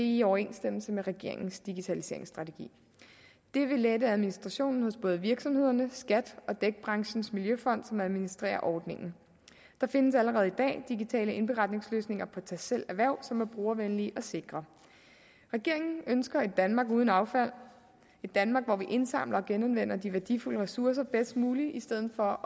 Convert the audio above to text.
i overensstemmelse med regeringens digitaliseringsstrategi det vil lette administrationen hos både virksomhederne skat og dækbranchens miljøfond som administrerer ordningen der findes allerede i dag digitale indberetningsløsninger på tastselv erhverv som er brugervenlige og sikre regeringen ønsker et danmark uden affald et danmark hvor vi indsamler og genanvender de værdifulde ressourcer bedst muligt i stedet for